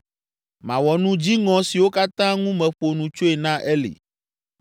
Mawɔ nu dziŋɔ siwo katã ŋu meƒo nu tsoe na Eli.